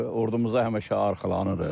Ordumuza həmişə arxalanırıq.